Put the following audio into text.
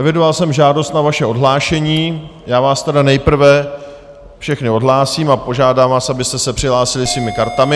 Evidoval jsem žádost o vaše odhlášení, já vás tedy nejprve všechny odhlásím a požádám vás, abyste se přihlásili svými kartami.